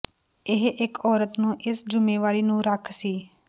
ਇਹ ਇੱਕ ਔਰਤ ਨੂੰ ਇਸ ਜ਼ਿੰਮੇਵਾਰੀ ਨੂੰ ਰੱਖ ਸੀ